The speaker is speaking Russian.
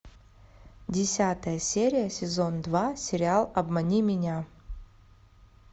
десятая серия сезон два сериал обмани меня